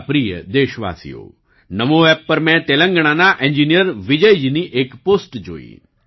મારા પ્રિય દેશવાસીઓ NaMoApp પર મેં તેલંગણાના એન્જિનિયર વિજય જીની એક પોસ્ટ જોઈ